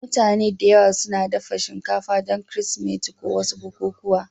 Mutane da yawa suna dafa shinkafa don Kirsimeti ko wasu bukukuwa.